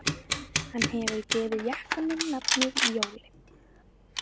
Hann hefur gefið jakanum nafnið Jóli